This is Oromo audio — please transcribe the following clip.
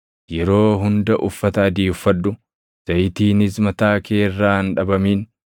Yeroo hunda uffata adii uffadhu; zayitiinis mataa kee irraa hin dhabamin.